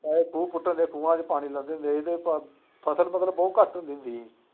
ਚਾਹੇ ਖੂਹ ਪੁੱਟਣ ਦੇ, ਖੂ੍ਹਾਂ ਚ ਪਾਣੀ ਦੇ ਫਸਲ ਫੂਸਲ ਬਹੁਤ ਘੱਟ ਹੁੰਦੀ ਸੀ